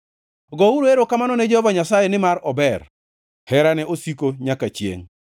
Gouru erokamano ne Jehova Nyasaye, nimar ober; herane osiko nyaka chiengʼ.